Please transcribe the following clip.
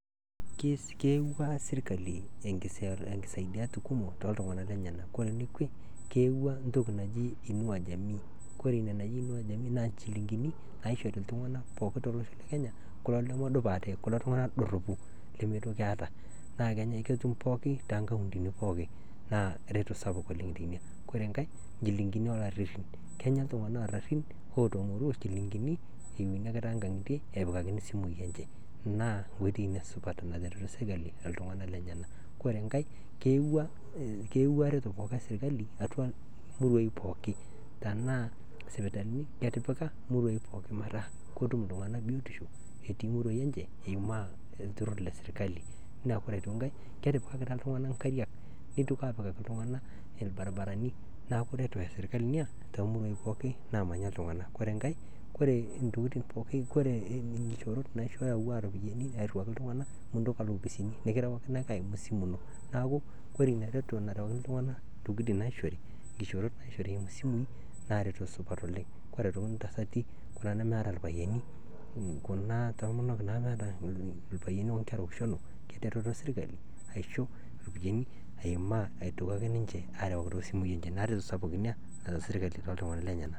Keewua esirikali enkisaidiat kumot to ltungana lenyena, kore nekwe keewua entoki naji inua jamii kore ina naji inua jamii naa inchilingini naishori iltunganak pookin te losho le kenya kulo lemedup ate kulo tungana doropu lemeitoki eeta, naa ketum pookin too nkauntini pooki naa ereto sapuk oleng teina, kore enkae, inchilingin oolaririn, kenya ltungana oorarin ootomoruo inchilingini eweni ake tee nka'ngitie epikakini simui enche, naa ng'oitei ina supat natereto sirikali oltungana lenyena, kore inkae keewua reto pooki esirikali atua muruaii pooki, tenaa sipitalini etipika muruaai pooki metaa ketum ltunganak biotisho etii muruaii enche eimaa oltuurr le sirikali, ore aitoki inkae ketipikakita ltunganak inkariak neitoki aapikaki ltunganak irbaribarani neaku ereto eserikali ina te moikapei naamanya ltunganak, ore aitoki inkaeoree intokitin pooki koree nkishorot naishooyo atiwua iropiyiani airiuaki iltunganak mintoki alo opisini, nikirawakini ake aimu esimu ino, neaku kore ina reto nerawakini ltunganak ntokitin naishori, nkishoorot naishori eimu simui naa ereto sapuk oleng, kore aitoki ntasatikuna nemeeta ilpayeni, kuna tomonok naata ilpayeni oitarushelu etereto serikali aisho iropiyiani aimaa aitoki ake ninche aarawaki too simui enche, naa ereteto sapuk ina naata serikali too ltunganak lenyena.